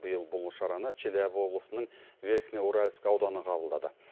биыл бұл шараны челябі облысының верхний уральск ауданы қабылдады